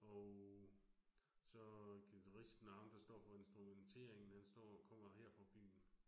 Og så guitaristen, ham der står for instrumenteringen, han står kommer her fra byen